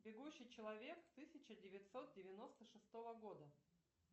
бегущий человек тысяча девятьсот девяносто шестого года